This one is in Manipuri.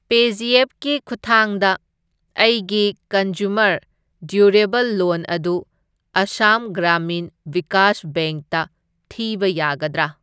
ꯄꯦꯖꯤꯑꯦꯞꯀꯤ ꯈꯨꯠꯊꯥꯡꯗ ꯑꯩꯒꯤ ꯀꯟꯖ꯭ꯌꯨꯃꯔ ꯗ꯭ꯌꯨꯔꯦꯕꯜ ꯂꯣꯟ ꯑꯗꯨ ꯑꯁꯥꯝ ꯒ꯭ꯔꯥꯃꯤꯟ ꯚꯤꯀꯥꯁ ꯕꯦꯡꯛꯇ ꯊꯤꯕ ꯌꯥꯒꯗ꯭ꯔꯥ?